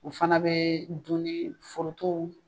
U fana bɛ dun ni foroton